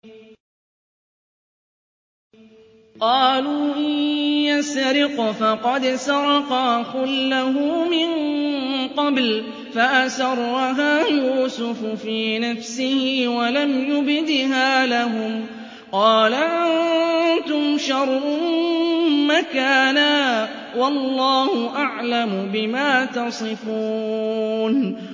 ۞ قَالُوا إِن يَسْرِقْ فَقَدْ سَرَقَ أَخٌ لَّهُ مِن قَبْلُ ۚ فَأَسَرَّهَا يُوسُفُ فِي نَفْسِهِ وَلَمْ يُبْدِهَا لَهُمْ ۚ قَالَ أَنتُمْ شَرٌّ مَّكَانًا ۖ وَاللَّهُ أَعْلَمُ بِمَا تَصِفُونَ